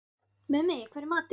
Mummi, hvað er í matinn?